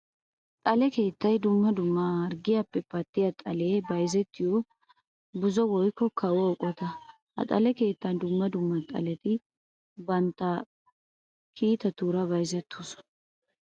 Xale keettay dumma dumma harggiyappe pattiya xale bayzzettiyo buzo woykko kawo eqotta. Ha xale keettan dumma dumma xaletti bantta kiitatura bayzzettosonna.